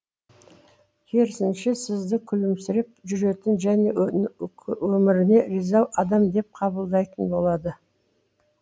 керісінше сізді күлімсіреп жүретін және өміріне риза адам деп қабылдайтын болады